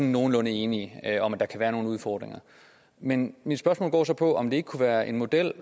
nogenlunde enige om at der kan være nogle udfordringer men mit spørgsmål går så på om det ikke kunne være en model